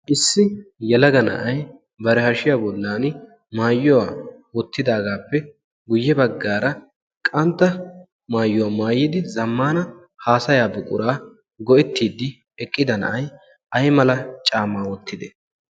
issi yalaga na7ai bara hashiya bollan maayuwaa wottidaagaappe guyye baggaara qantta maayuwaa maayyidi zammana haasayaa buquraa go7ittiiddi eqqida na7ai ai mala caamaa wottide?